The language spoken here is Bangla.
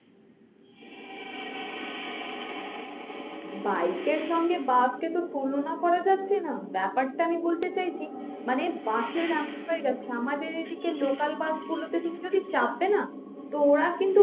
bike এর সঙ্গে bus কে তো তুলনা করা যাচ্ছে না ব্যাপারটা আমি বলতে চাইছি মানে bus এর এমন হয়ে যাচ্ছে আমাদের এদিকে local bus গুলোতে তুমি যদি চাপবে না তো ওরা কিন্তু